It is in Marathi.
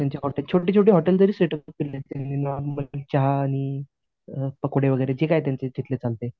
ते त्यांचे हॉटेल छोटी छोटी हॉटेल जरी चहा आणि पकोडे वगैरे जे काही तिथले त्यांचे चालते.